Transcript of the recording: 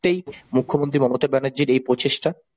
তাই মুখ্যমন্ত্রী মমতা ব্যানার্জির এই প্রচেষ্টা।